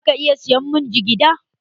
Za ka iya saya mun jigida?